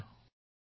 নমস্কাৰ